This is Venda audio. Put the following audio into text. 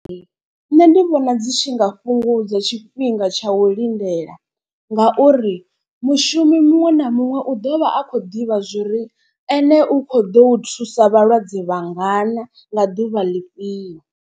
Nṋe ndi vhona dzi tshi nga fhungudza tshifhinga tsha u lindela. Ngauri mushumi muṅwe na muṅwe u ḓovha a kho ḓivha zwori ene u kho ḓo u thusa vhalwadze vhangana nga ḓuvha ḽifhio.